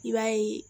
I b'a ye